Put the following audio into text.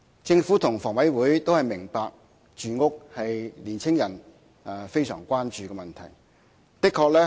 政府和香港房屋委員會都明白，住屋是青年人非常關注的問題。